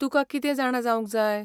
तुका कितें जाणा जावंक जाय?